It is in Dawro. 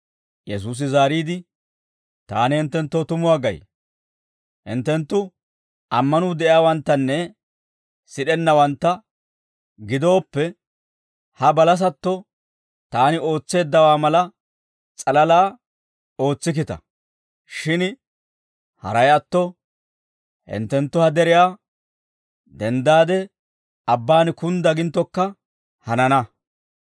Yesuusi zaariide, «Taani hinttenttoo tumuwaa gay; hinttenttu ammanuu de'iyaawanttanne sid'ennawantta gidooppe, ha balasatto taani ootseeddawaa mala s'alalaa ootsikkita; shin haray atto hinttenttu ha deriyaa, ‹Denddaade abbaan kundda› ginttokka hanana;